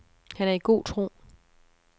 Han er i god tro.